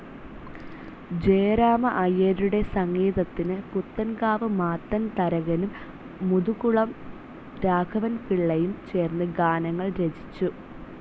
ജയരാമ അയ്യരുടെ സംഗീതത്തിനു പുത്തൻകാവ് മാത്തൻ തരകനും മുതുകുളം രാഘവൻപിള്ളയും ചേർന്ന് ഗാനങ്ങൾ രചിച്ചു.